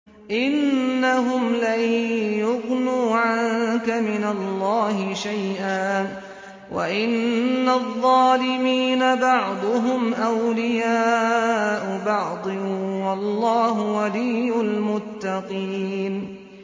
إِنَّهُمْ لَن يُغْنُوا عَنكَ مِنَ اللَّهِ شَيْئًا ۚ وَإِنَّ الظَّالِمِينَ بَعْضُهُمْ أَوْلِيَاءُ بَعْضٍ ۖ وَاللَّهُ وَلِيُّ الْمُتَّقِينَ